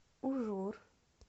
ужур